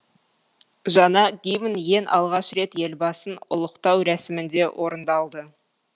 жаңа гимн ең алғаш рет елбасын ұлықтау рәсімінде орындалды